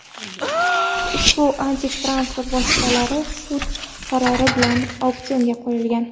Ushbu antikvar transport vositalari sud qarori bilan auksionga qo‘yilgan.